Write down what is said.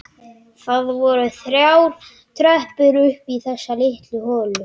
Það voru þrjár tröppur upp í þessa litlu holu.